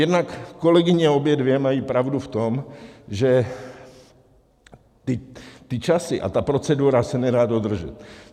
Jednak kolegyně obě dvě mají pravdu v tom, že ty časy a ta procedura se nedá dodržet.